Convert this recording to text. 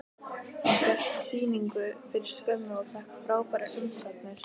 Hann hélt hérna sýningu fyrir skömmu og fékk frábærar umsagnir.